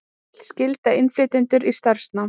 Vill skylda innflytjendur í starfsnám